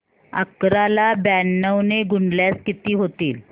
अकरा ला ब्याण्णव ने गुणल्यास किती होतील